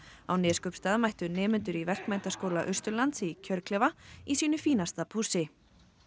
á Neskaupstað mættu nemendur í Verkmenntaskóla Austurlands í kjörklefa í sínu fínasta pússi